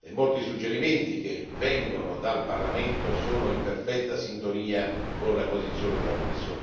e molti suggerimenti che vengono dal Parlamento sono in perfetta sintonia con la posizione della Commissione.